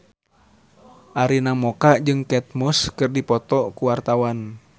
Arina Mocca jeung Kate Moss keur dipoto ku wartawan